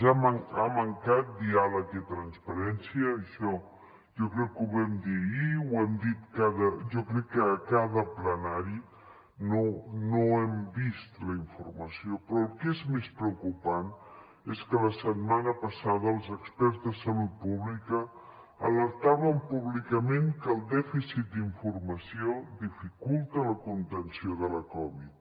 ha mancat diàleg i transparència això jo crec que ho vam dir ahir ho hem dit jo crec que a cada ple no hem vist la informació però el que és més preocupant és que la setmana passada els experts de salut pública alertaven públicament que el dèficit d’informació dificulta la contenció de la covid